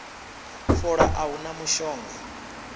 fola a hu na mushonga